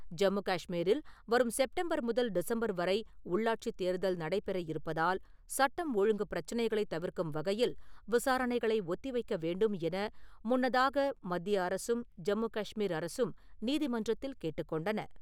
ஜம்மு காஷ்மீரில் வரும் செப்டம்பர் முதல் டிசம்பர் வரை உள்ளாட்சித் தேர்தல் நடைபெற இருப்பதால் சட்டம், ஒழுங்கு பிரச்சனைகளை தவிர்க்கும் வகையில் விசாரணைகளை ஒத்திவைக்க வேண்டும் என முன்னதாக மத்திய அரசும் ஜம்மு காஷ்மீர் அரசும் நீதி மன்றத்தில் கேட்டுக்கொண்டன.